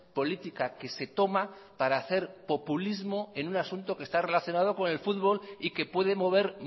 política que se toma para hacer populismo en un asunto que está relacionado con el fútbol y que puede mover